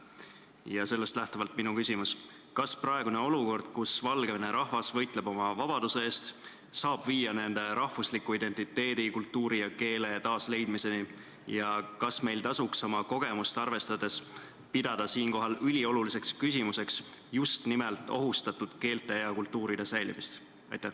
Ja sellest lähtuvalt on minu küsimus: kas praegune olukord, kus Valgevene rahvas võitleb oma vabaduse eest, saab viia nende rahvusliku identiteedi, kultuuri ja keele taasleidmiseni ja kas meil tasuks oma kogemust arvestades pidada siinkohal ülioluliseks küsimuseks just nimelt ohustatud keelte ja kultuuride säilimist?